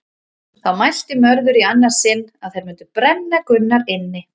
Þá mælti Mörður í annað sinn að þeir mundi brenna Gunnar inni.